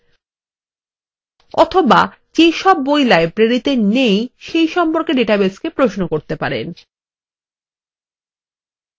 অথবা যে সব বই library নেই সেই সম্পর্কে ডাটাবেসকে প্রশ্ন করতে পারেন